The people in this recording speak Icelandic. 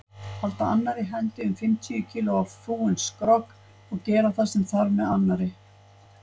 Halda annarri hendi um fimmtíu kílógramma fúinn skrokk og gera það sem þarf með annarri.